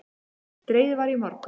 Dregið var í morgun